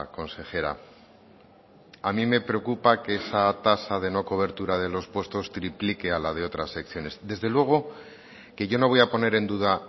consejera a mí me preocupa que esa tasa de no cobertura de los puestos triplique a la de otras secciones desde luego que yo no voy a poner en duda